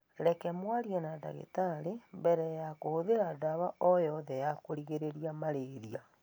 Reke mwarie na ndagĩtarĩ mbere ya kũhũthĩra ndawa o yothe ya kũgirĩrĩria malaria.